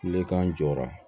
Tilekan jɔra